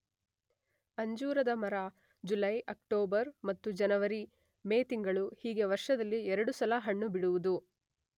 ಅಂಜೂರದ ಮರ ಜುಲೈ, ಅಕ್ಟೋಬರ್ ಮತ್ತು ಜನವರಿ, ಮೇ ತಿಂಗಳು ಹೀಗೆ ವರ್ಷದಲ್ಲಿ ಎರಡು ಸಲ ಹಣ್ಣು ಬಿಡುವುದು.